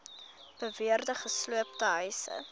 beweerde gesloopte huise